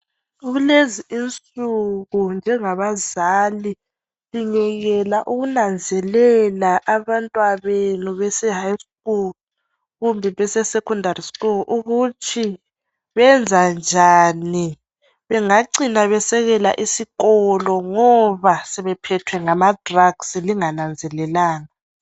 Kulezi insuku njengabazali singekela ukunanzelela abantwa benu beseHigh School kumbe beseSecondary School ukuthi benza njani bengacina besekela isikolo ngoba sebephethwe ngamaDrugs lingananzelelanga.